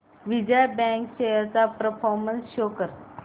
Vijaya bank shares चा performance show कर